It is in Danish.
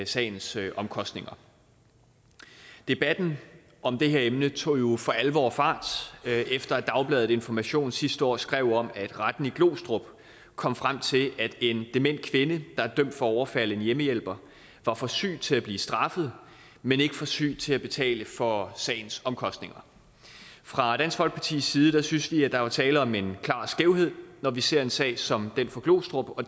sagens omkostninger debatten om det her emne tog jo for alvor fart efter at dagbladet information sidste år skrev om at retten i glostrup kom frem til at en dement kvinde var dømt for at overfalde en hjemmehjælper var for syg til at blive straffet men ikke for syg til at betale for sagens omkostninger fra dansk folkepartis side synes vi at der var tale om en klar skævhed når vi ser en sag som den fra glostrup og